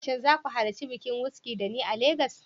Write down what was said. Shin za ku halarci bikin Wizkid da ni a Legas?